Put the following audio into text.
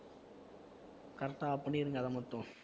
correct ஆ பண்ணிடுங்க அதை மட்டும்